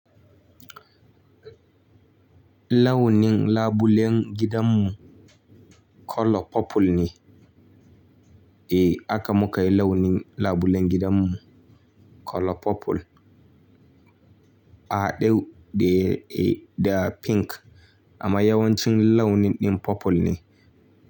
Launin labulen gidanmu colour purple ne. Eh aka muka yi launin labulen gidanmu colour purple. Adew de ga pink adew de de ga pink.